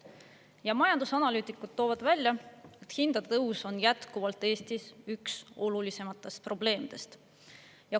Ja majandusanalüütikud toovad välja: hindade tõus on jätkuvalt Eestis üks olulisematest probleemidest.